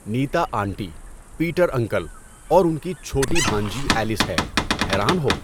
نیتا aunty, Peter uncle, اور انکی چھوٹی بھانجی ایلس ہے، حیران ہو؟